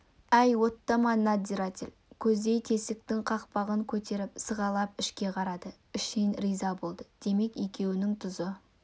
әй оттама надзиратель көздей тесіктің қақпағын көтеріп сығалап ішке қарады ішінен риза болды демек екеуінің тұзы